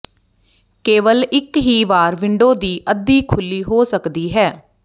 ਕੇਵਲ ਇੱਕ ਹੀ ਵਾਰ ਵਿੰਡੋ ਦੀ ਅੱਧੀ ਖੁੱਲੀ ਹੋ ਸਕਦੀ ਹੈ